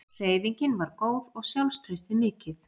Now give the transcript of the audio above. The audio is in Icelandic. Hreyfingin var góð og sjálfstraustið mikið.